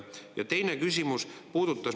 Ja teine küsimus puudutas …